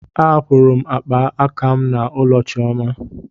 Ahapụrụ m akpa aka m n'ụlọ chioma.